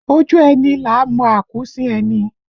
Ojú ẹni là á mọ akuusin ẹni